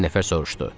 Bir nəfər soruşdu.